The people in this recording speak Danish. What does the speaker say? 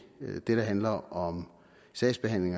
det der handler om sagsbehandling